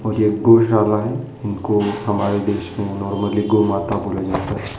यह गौशाला है। उनको हमारे देश को नॉर्मली गौ माता को ले जाते हैं।